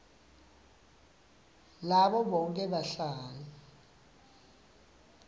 labo bonkhe bahlali